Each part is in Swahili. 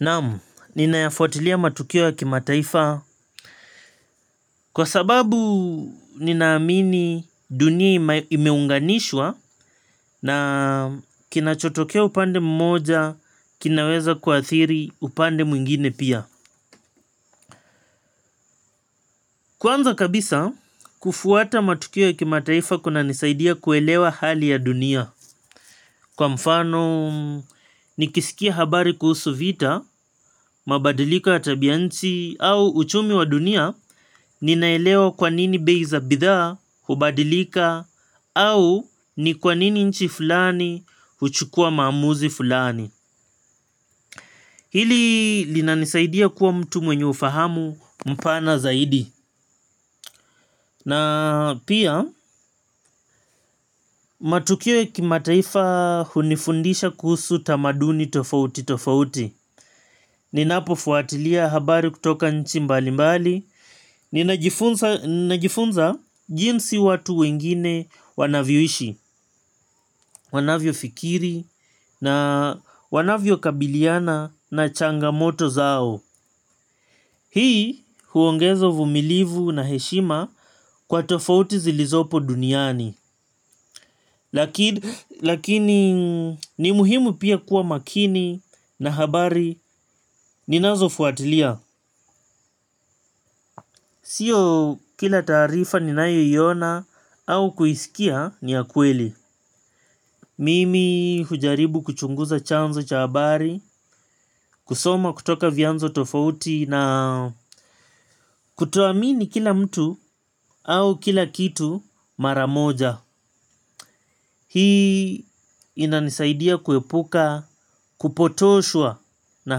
Naamu, ninayafuatilia matukio ya kimataifa kwa sababu nina amini dunia imeunganishwa na kinachotokea upande mmoja, kinaweza kuathiri upande mwingine pia. Kwanza kabisa, kufuata matukio ya kimataifa kuna nisaidia kuelewa hali ya dunia. Kwa mfano, nikisikia habari kuhusu vita, mabadiliko ya tabianchi, au uchumi wa dunia, ninaelewa kwanini bei za bidhaa, hubadilika, au ni kwanini nchi fulani, huchukua maamuzi fulani. Hili linanisaidia kuwa mtu mwenye ufahamu mpana zaidi. Na pia matukio kimataifa hunifundisha kuhusu tamaduni tofauti tofauti. Ninapo fuatilia habari kutoka nchi mbalimbali. Ninajifunza jinsi watu wengine wanavyoishi, wanavyo fikiri na wanavyo kabiliana na changamoto zao. Hii huongezo vumilivu na heshima kwa tofauti zilizopo duniani. Lakini ni muhimu pia kuwa makini na habari ninazo fuatilia. Sio kila taarifa ni nayo iyona au kuisikia ni ya kweli. Mimi hujaribu kuchunguza chanzo cha habari. Kusoma kutoka vianzo tofauti na kutoamini kila mtu au kila kitu maramoja. Hii ina nisaidia kuepuka kupotoshwa na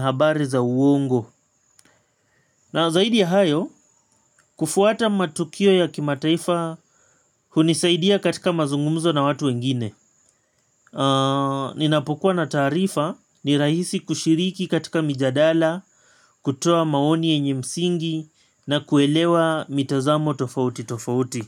habari za uongo. Na zaidi ya hayo kufuata matukio ya kimataifa hunisaidia katika mazungumzo na watu wengine. Ninapokua na taarifa ni rahisi kushiriki katika mijadala kutoa maoni yenye msingi na kuelewa mitazamo tofauti tofauti.